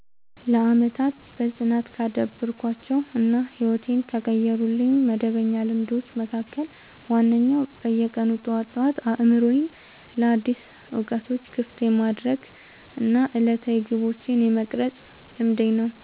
ለዓመታት በጽናት ካዳበርኳቸው እና ሕይወቴን ከቀየሩልኝ መደበኛ ልማዶች መካከል ዋነኛው በየቀኑ ጠዋት ጠዋት አእምሮዬን ለአዳዲስ እውቀቶች ክፍት የማድረግ እና ዕለታዊ ግቦቼን የመቅረጽ ልማዴ ነው።